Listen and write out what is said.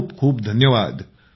खूप खूप धन्यवाद